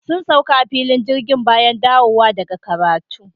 Sun sauka a filin jirgi bayan dawowa daga karatu.